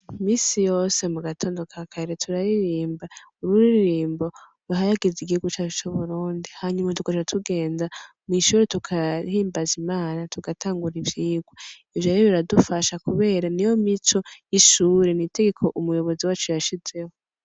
Imisi yose mu gatondo ka kare turaririmba ururirimbo ruhayagiza igihugu cacu c'Uburundi hanyuma tugaca tugenda mw'ishure tugahimbaza Imana tugatangura ivyigwa , ivyo rero biradufasha kubera niyo mico y'ishure n'itegeko umuyobozi wacu yashizeho.